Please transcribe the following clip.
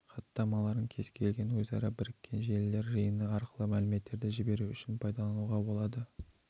хаттамаларын кез-келген өзара бірікен желілер жиыны арқылы мәліметтерді жіберу үшін пайдалануға болады